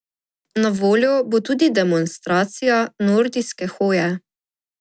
Na voljo bo tudi demonstracija nordijske hoje.